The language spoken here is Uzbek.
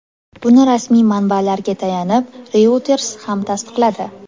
Buni rasmiy manbalarga tayanib, Reuters ham tasdiqladi.